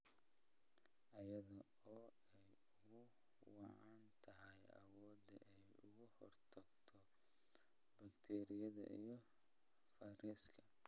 iyada oo ay ugu wacan tahay awoodda ay uga hortagto bakteeriyada iyo fayraska.